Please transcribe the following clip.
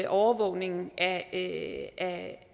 overvågningen af